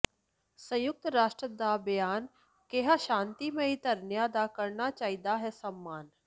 ਸੰਯੁਕਤ ਰਾਸ਼ਟਰ ਦਾ ਬਿਆਨ ਕਿਹਾ ਸ਼ਾਂਤਮਈ ਧਰਨਿਆਂ ਦਾ ਕਰਨਾ ਚਾਹੀਦਾ ਹੈ ਸਨਮਾਨ